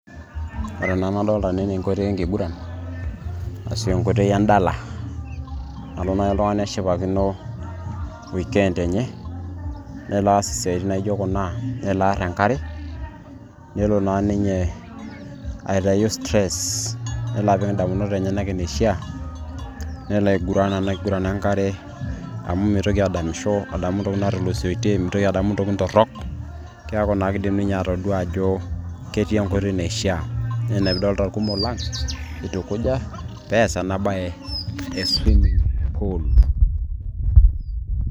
Ore ena nadolita tene naa enkoitoi enkiguran ashu enkoitoi endala nalo naaji oltung'ani neshipakino weekend enye nelo aas isiaitin naijo kuna nelo aar enkare nelo naa ninye aitayu stress nelo apik indamunot enyenak eneishaa nelo aiguran ena kiguran enkare amu mitoki adamisho adamu ntokitin naatulusoitie mitoki adamu ntokitin torrok keeku naa kidim ninye atodua ajo ketii enkoitoi naishaa naa ina piidolita irkumok lang itukuja pees ena baye e swimming pool.